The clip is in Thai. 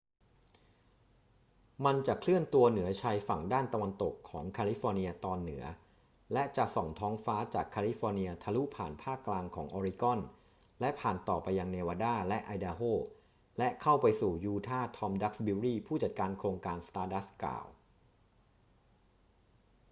มันจะเคลื่อนตัวเหนือชายฝั่งด้านตะวันตกของแคลิฟอร์เนียตอนเหนือและจะส่องท้องฟ้าจากแคลิฟอร์เนียทะลุผ่านภาคกลางของออริกอน และผ่านต่อไปยังเนวาดาและไอดาโฮ และเข้าไปสู่ยูทาห์ ทอม ดักซ์บิวรี ผู้จัดการของโครงการ stardust กล่าว